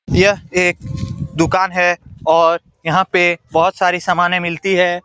यह एक दुकान है और यहां पे बहोत सारी समाने मिलती है।